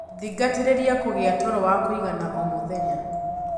Thingatirirĩa kũgia toro wa kũigana o mũthenya